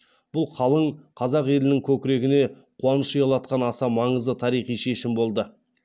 бұл қалың қазақ елінің көкірегіне қуаныш ұялатқан аса маңызды тарихи шешім болды